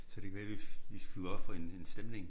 Så det kan være vi vi skal op for en en stemning